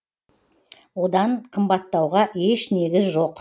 одан қымбаттауға еш негіз жоқ